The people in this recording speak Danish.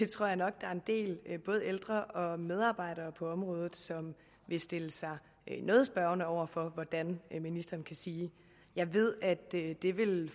tror jeg nok der er en del både ældre og medarbejdere for området som vil stille sig noget spørgende over for hvordan ministeren kan sige jeg ved at